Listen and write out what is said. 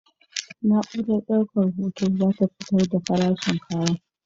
Na'urar daukar hoto za ta fitar da farashin kayan.